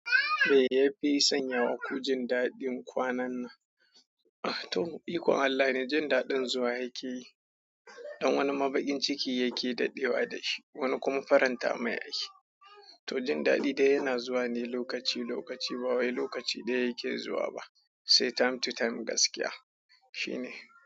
Mai yafi sanya wa kujin daɗin kwanan nan. Ah toh, ikon Allah ne jin daɗin zuwa yake yi. Don wani mabaƙin ciki yake daɗewa da shi, wani kuma faranta ma yake toh jin daɗi da yana zuwa ne lokaci lokaci, ba wai lokaci ɗaya yake zuwa ba, sai time to time gaskiya. Shi ne.